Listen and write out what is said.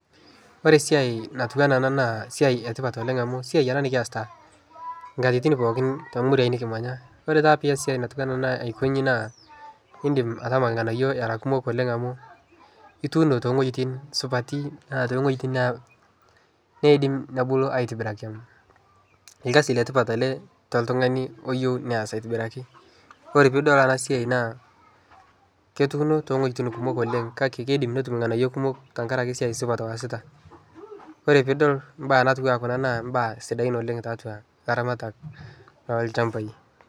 Ore esiai natiu enaa ena naa esiai e tipat oleng' amu esiai ena nekiasita inkatitin pookin too muruain nekimanya. Ore taata pias esiai natiu ena aiko nchi naa iindim atama irng'anayio era kumok oleng' amu ituuno too wueitin supati naa too wueitin naa niidim nebulu aitobiraki. Irkasile tipat ele toltung'ani oyeu neas aitibiraki. Ore piidol ena siai naaketuuno too wueitin kumok oleng' kake kiidim netum irng'anayio kumok tenkaraki esiai supat oasita. Ore piidol imbaa natiu enaa kuna naa mbaa sidain tiatua ilaramatak lolchambai.